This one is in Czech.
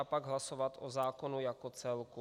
A pak hlasovat o zákonu jako celku.